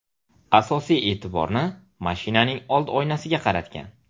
Asosiy e’tiborni mashinaning old oynasiga qaratgan.